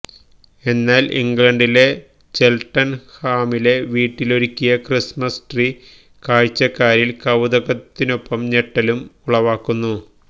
എന്നാല് ഇംഗ്ലണ്ടിലെ ചെല്ട്ടണ്ഹാമിലെ വീട്ടിലൊരുക്കിയ ക്രിസ്മസ് ട്രീ കാഴ്ചക്കാരില് കൌതുകത്തിനൊപ്പം ഞെട്ടലും ഉളവാക്കുന്നു